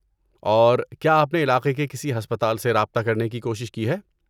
اور، کیا آپ نے علاقے کے کسی ہسپتال سے رابطہ کرنے کی کوشش کی ہے؟